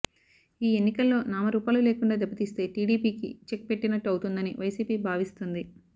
ఈ ఎన్నికల్లో నామ రూపాలు లేకుండా దెబ్బ తీస్తే టీడీపీకి చెక్ పెట్టినట్టు అవుతుందని వైసీపీ భావిస్తుంది